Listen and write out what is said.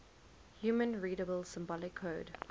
human readable symbolic code